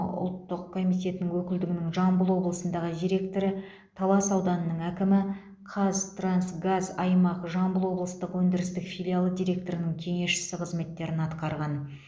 ұлттық комитетінің өкілдігінің жамбыл облысындағы директоры талас ауданының әкімі қазтрансгаз аймақ жамбыл облыстық өндірістік филиалы директорының кеңесшісі қызметтерін атқарған